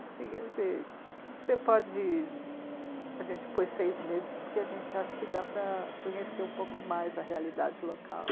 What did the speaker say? Assim, quer dizer, que você pode... A gente pôs seis meses porque a gente acha que dá para conhecer um pouco mais a realidade local.